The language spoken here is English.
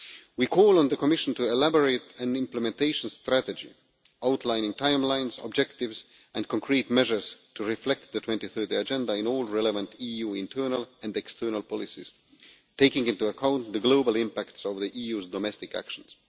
We call on the Commission to elaborate an implementation strategy, outlining timelines, objectives and concrete measures to reflect the 2030 Agenda in all the relevant EU internal and external policies, taking into account the global impact of the EU's domestic actions.